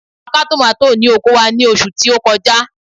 A ka tòmátò ní oko wa ní oṣù tí ó kọjá.